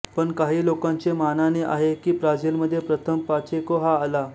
पण काही लोकांचे मानाने आहे की ब्राझीलमध्ये प्रथम पाचेको हा आला